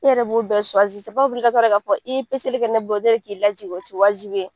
Ne yɛrɛ b'o bɛɛ ka fɔ k'i ye kɛ ne bolo ko ne k'i lajigin o te wajibi ye.